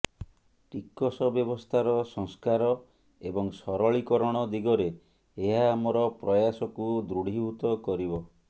ଟିକସ ବ୍ୟବସ୍ଥାର ସଂସ୍କାର ଏବଂ ସରଳୀକରଣ ଦିଗରେ ଏହା ଆମର ପ୍ରୟାସକୁ ଦୃଢିଭୂତ କରିବ